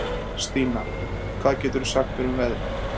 Stína, hvað geturðu sagt mér um veðrið?